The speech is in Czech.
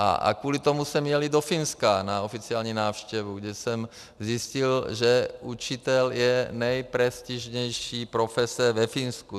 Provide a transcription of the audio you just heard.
A kvůli tomu jsem jel i do Finska na oficiální návštěvu, kdy jsem zjistil, že učitel je nejprestižnější profese ve Finsku.